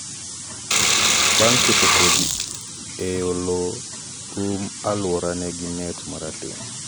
bang' keto kodhi ei lowo um aluorano gi net marateng'